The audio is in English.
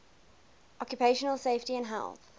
occupational safety and health